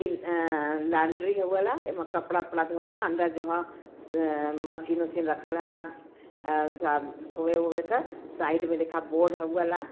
ईल एं लॉन्ड्री हउ वाला। एमे कपडा ओपड़ा धोआला। अंदर जो ह अं मशीन ओसीन रखल रहेला एं थुआ धोए ओए क। साइड में देखा बोर्ड हउ वाला।